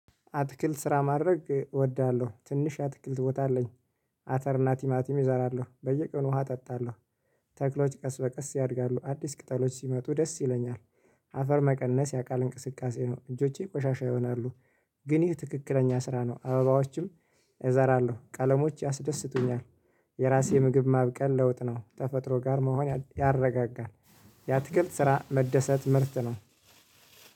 አትክልት ስራ ማድረግ እወዳለሁ ትንሽ አትክልት ቦታ አለኝ። አተር ናቲማቲም እዘራለሁ በየቀኑ ውሃ አጠጣለሁ። ተክሎች ቀስ በቀስ ያድጋሉ አዲስ ቅጠሎች ሲመጡ ደስ ይለኛል። አፈር መቀነስ የአካል እንቅስቃሴ ነው እጆቼ ቆሻሻ ይሆናሉ። ግን ይህ ትክክለኛ ስራ ነው አበባዎችም እዘራለሁ ቀለሞች ያስደስቱኛል። የራሴ ምግብ ማብቀል ለውጥ ነው ተፈጥሮ ጋር መሆን ያረጋጋል። ያትክልት ስራ መደሰት ምርት ነው።